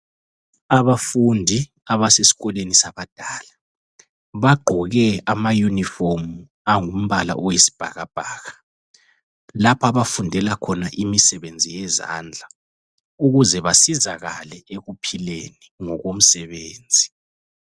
Abafundi abasesikolweni sabadala bagqoke amayunifomu angumbala oyisibhakabhaka. Lapha abafundela khona imisebenzi yezandla ukuze basizakale ekuphileni ngokomsebenzi.